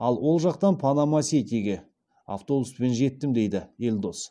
ал ол жақтан панама ситиге автобуспен жеттім дейді елдос